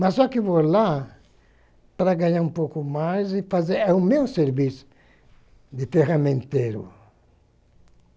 Mas só que vou lá para ganhar um pouco mais e fazer o meu serviço de ferramenteiro.